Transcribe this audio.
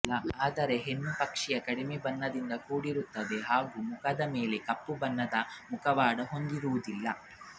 ಆದರೆ ಹೆಣ್ಣು ಪಕ್ಷಿಯು ಕಡಿಮೆ ಬಣ್ಣದಿಂದ ಕೂಡಿರುತ್ತದೆ ಹಾಗೂ ಮುಖದ ಮೇಲಿನ ಕಪ್ಪು ಬಣ್ಣದ ಮುಖವಾಡ ಹೊಂದಿರುವುದಿಲ್ಲ